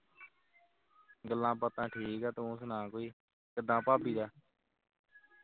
ਗੱਲਾਂ-ਬਾਤਾਂ ਠੀਕ ਹੈ ਤੂੰ ਸੁਣਾ ਕੋਈ ਕਿਦਾਂ ਭਾਬੀ ਦਾ